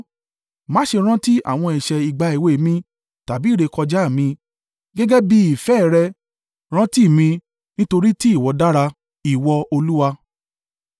Má ṣe rántí àwọn ẹ̀ṣẹ̀ ìgbà èwe mi tàbí ìrékọjá mi; gẹ́gẹ́ bí i ìfẹ́ ẹ rẹ̀ rántí mi nítorí tí ìwọ dára, Ìwọ! Olúwa.